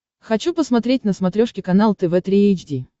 хочу посмотреть на смотрешке канал тв три эйч ди